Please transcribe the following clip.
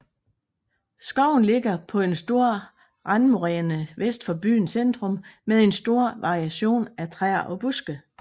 Skoven ligger på en stor randmoræne vest for byens centrum med en stor variation af træer og buske